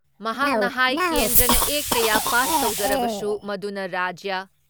ꯃꯍꯥꯛꯅ ꯍꯥꯏ ꯀꯦꯟꯗ꯭ꯔꯅ ꯑꯦꯛ ꯀꯌꯥ ꯄꯥꯁ ꯇꯧꯖꯔꯕꯁꯨ ꯃꯗꯨꯅ ꯔꯥꯖ꯭ꯌ